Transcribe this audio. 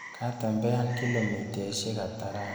Katembean kilomitaishek ata rani.